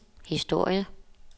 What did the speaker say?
historie